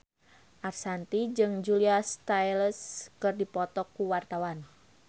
Ashanti jeung Julia Stiles keur dipoto ku wartawan